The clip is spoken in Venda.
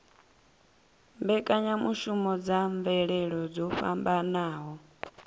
mbekanyamushumo ya mvelele dzo fhambanaho